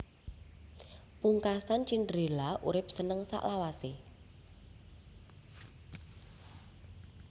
Pungkasan Cinderella urip seneng selawasé